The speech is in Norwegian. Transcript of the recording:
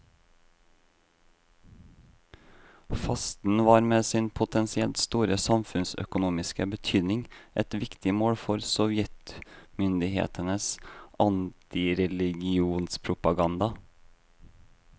Fasten var med sin potensielt store samfunnsøkonomiske betydning et viktig mål for sovjetmyndighetenes antireligionspropaganda.